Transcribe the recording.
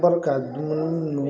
ka dumuni